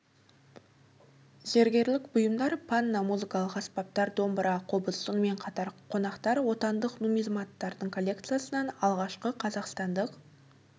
зергерлік бұйымдар панно музыкалық аспаптар домбыра қобыз сонымен қатар қонақтар отандық нумизматтардың коллекциясынан алғашқы қазақстандық